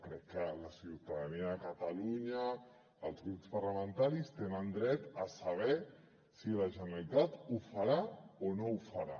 crec que la ciutadania de catalunya els grups parlamentaris tenen dret a saber si la generalitat ho farà o no ho farà